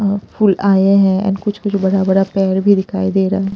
अ फुल आए हैं एंड कुछ कुछ बड़ा बड़ा पेड़ भी दिखाई दे रहा है।